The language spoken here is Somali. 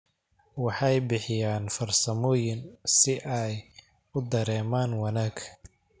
Waxay bixiyaan farsamooyin si ay u dareemaan wanaag.